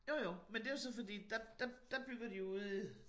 Jo jo men det jo så fordi der der bygger de ude